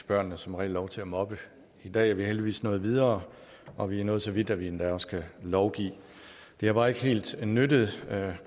børnene som regel lov til at mobbe i dag er vi heldigvis nået videre og vi er nået så vidt at vi endda også kan lovgive det har bare ikke helt nyttet